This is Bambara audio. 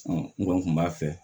n kɔni tun b'a fɛ